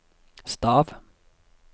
stav